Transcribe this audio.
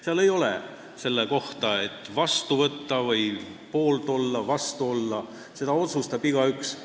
Seal ei ole infot, et see tuleb vastu võtta või poolt või vastu olla – seda otsustab igaüks ise.